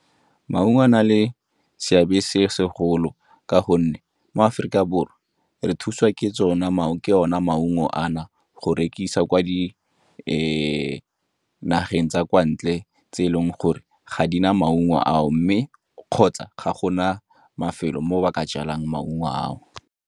Maungo a na le seabe se segolo ka gonne mo Aforika Borwa re thuswa ke ona maungo ana go rekisa kwa di nageng tsa kwa ntle tse e leng gore ga di na maungo ao, mme kgotsa ga gona mafelo mo ba ka jalang maungo ao.